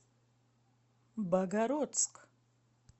богородск